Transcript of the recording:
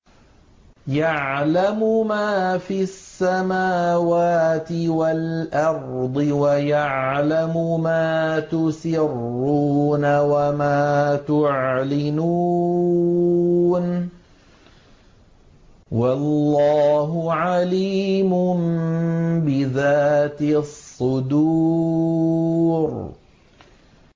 يَعْلَمُ مَا فِي السَّمَاوَاتِ وَالْأَرْضِ وَيَعْلَمُ مَا تُسِرُّونَ وَمَا تُعْلِنُونَ ۚ وَاللَّهُ عَلِيمٌ بِذَاتِ الصُّدُورِ